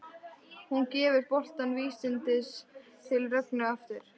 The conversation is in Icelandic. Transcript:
Hún gefur boltann vísvitandi til Rögnu aftur.